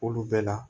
Olu bɛɛ la